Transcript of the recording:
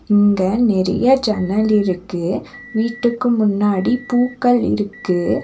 இங்கெ நெறைய ஜன்னல் இருக்கு வீட்டுக்கு முன்னாடி பூக்கள் இருக்கு.